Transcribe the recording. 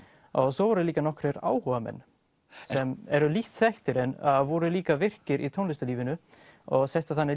svo voru líka nokkrir áhugamenn sem eru lítt þekktir en voru líka virkir í tónlistarlífinu og settu þannig